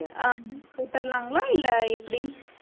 அஹ் போட்டிடலாங்களா இல்லை எப்படி